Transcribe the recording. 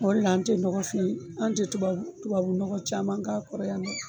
O de la an tɛ nɔgɔfin an tɛ tubabu nɔgɔ caman k'a kɔrɔ yan nɔ